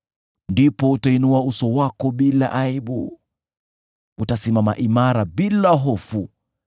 ndipo utainua uso wako bila aibu; utasimama imara bila hofu.